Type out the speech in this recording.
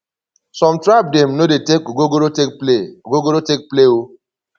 some tribe dem no dey take ogogoro take play ogogoro take play o